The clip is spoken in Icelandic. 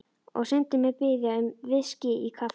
Og Syndin mun biðja um VISKÍ í kaffið.